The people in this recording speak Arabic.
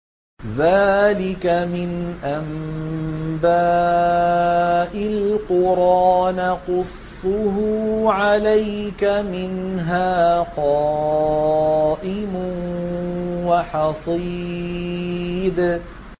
ذَٰلِكَ مِنْ أَنبَاءِ الْقُرَىٰ نَقُصُّهُ عَلَيْكَ ۖ مِنْهَا قَائِمٌ وَحَصِيدٌ